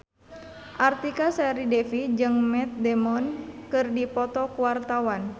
Artika Sari Devi jeung Matt Damon keur dipoto ku wartawan